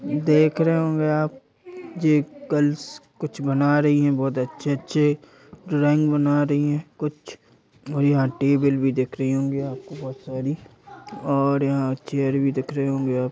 देख रहे होगे आप ये गर्ल्स कुछ बना रही हैं बहोत अच्छे-अच्छे ड्राइंग बना रही हैं कुछ यहाँ टेबिल भी दिख रही होंगी बहोत सारी और चेयर भी दिख रहे होंगे --